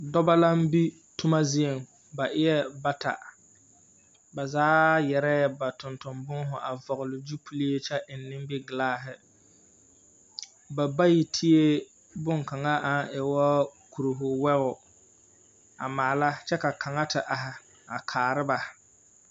Dͻbͻ laŋ be toma zieŋ, ba eԑԑ bata. Ba zaa yԑrԑԑ ba tonton-booho a vͻgele gyupile kyԑ eŋ nimbikelaahe. Ba bayi tee boŋkaŋa aŋ e wo kuriho wogi a maala kyԑ ka kaŋa te are a kaara ba.